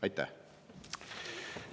Aitäh!